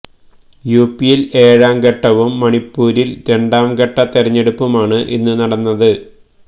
യുപിയില് ഏഴാം ഘട്ടവും മണിപ്പൂരില് രണ്ടാം ഘട്ട തെരഞ്ഞെടുപ്പുമാണ് ഇന്ന് നടക്കുന്നത്